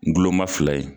N gulɔma fila ye